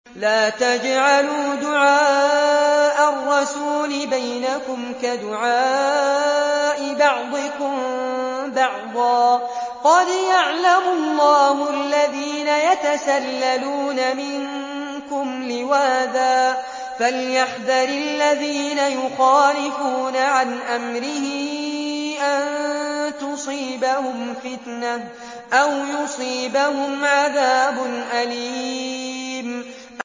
لَّا تَجْعَلُوا دُعَاءَ الرَّسُولِ بَيْنَكُمْ كَدُعَاءِ بَعْضِكُم بَعْضًا ۚ قَدْ يَعْلَمُ اللَّهُ الَّذِينَ يَتَسَلَّلُونَ مِنكُمْ لِوَاذًا ۚ فَلْيَحْذَرِ الَّذِينَ يُخَالِفُونَ عَنْ أَمْرِهِ أَن تُصِيبَهُمْ فِتْنَةٌ أَوْ يُصِيبَهُمْ عَذَابٌ أَلِيمٌ